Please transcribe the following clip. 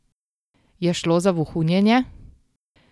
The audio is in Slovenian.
Je šlo za vohunjenje?